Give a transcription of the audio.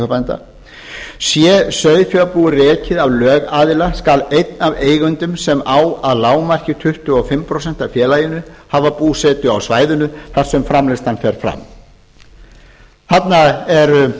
sauðfjárbænda sé sauðfjárbú rekið af lögaðila skal einn af eigendum sem á að lágmarki tuttugu og fimm prósent af félaginu hafa búsetu á svæðinu þar sem framleiðslan fer fram þarna eru